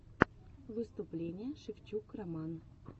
выступление шевчук роман